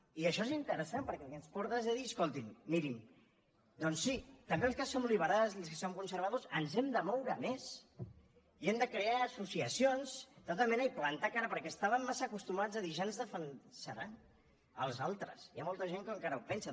i això és interessant perquè al que ens porta és a dir escoltin mirin doncs sí també els que som liberals i els que som conservadors ens hem de moure més i hem de crear associacions de tota mena i plantar cara perquè estàvem massa acostumats a dir ja ens defensaran els altres hi ha molta gent que encara ho pensa